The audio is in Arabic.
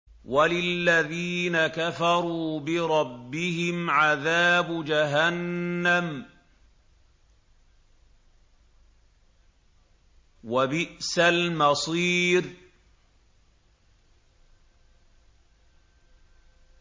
وَلِلَّذِينَ كَفَرُوا بِرَبِّهِمْ عَذَابُ جَهَنَّمَ ۖ وَبِئْسَ الْمَصِيرُ